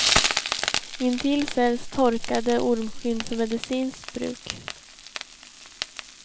Intill säljs torkade ormskinn för medicinskt bruk.